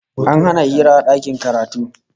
An hana hira a dakin karatu